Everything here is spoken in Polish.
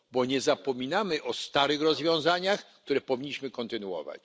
Bo nie zapominamy o starych rozwiązaniach, które powinniśmy kontynuować.